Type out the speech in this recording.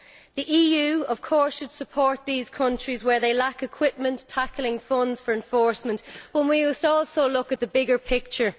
The EU, of course, should support these countries where they lack equipment and funds for enforcement, but we must also look at the bigger picture.